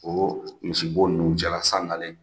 O misibo ninnu cɛ la san nalen